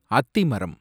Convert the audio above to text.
அத்திமரம்